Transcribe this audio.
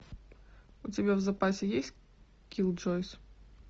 у тебя в запасе есть киллджойс